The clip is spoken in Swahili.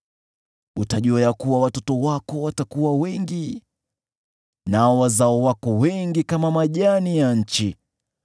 Utajua ya kuwa watoto wako watakuwa wengi, nao wazao wako wengi kama majani ya nchi.